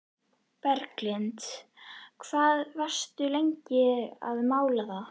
Berglind: Hvað varstu lengi að mála það?